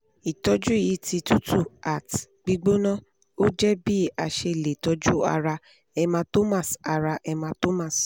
itoju yi ti tutu at gbigbona oje bi ase le toju ara hematomas ara hematomas